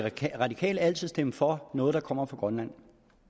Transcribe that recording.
radikale altid stemme for noget der kommer fra grønland